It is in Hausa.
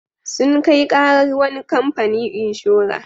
Sun kai ƙarar wani kamfani inshora.